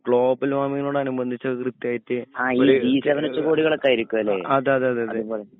global വാർമിംഗ്‌നോടനുബന്ധിച്ഛ് അത് കൃത്യായിട്ട് അതെ അതെ അതേ